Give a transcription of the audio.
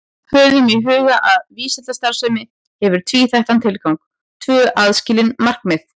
Höfum í huga að vísindastarfsemi hefur tvíþættan tilgang, tvö aðskilin markmið.